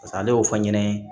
ale y'o fɔ n ɲɛna